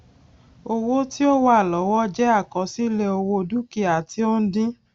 owó ti o wa lọwọ jẹ àkọsílẹ owó dukia ti o ń dín